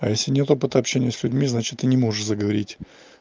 а если нет опыта общения с людьми значит ты не можешь заговорить